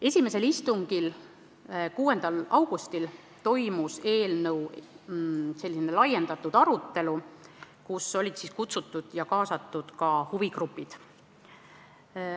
Esimesel istungil, 6. augustil toimus eelnõu laiendatud arutelu, kuhu olid kutsutud ja kaasatud ka huvigrupid.